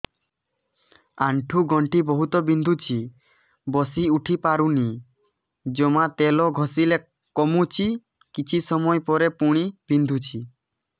ଆଣ୍ଠୁଗଣ୍ଠି ବହୁତ ବିନ୍ଧୁଛି ବସିଉଠି ପାରୁନି ଜମା ତେଲ ଘଷିଲେ କମୁଛି କିଛି ସମୟ ପରେ ପୁଣି ବିନ୍ଧୁଛି